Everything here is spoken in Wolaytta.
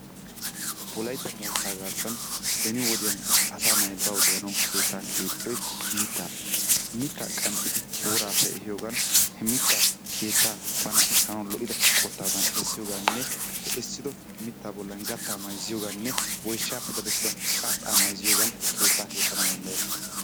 Wolaytta moottaa garssan beni woddiyan asaa nay bawu de'anawu keettaa keexxiyoy mitaappe, mitaa qanxxidi woraappe ehiyoogan he mitaa keettaa bana essanawu lo'ida qottaadan essiypoogaanne he essido mitaa bollan gataa mayzziyoogaane woyshshaappe daddettida qarxxaa mayzziyogan keettaa keexana danddayetees.